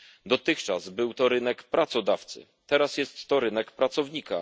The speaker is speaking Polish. Dotychczas był to rynek pracodawcy, teraz jest to rynek pracownika.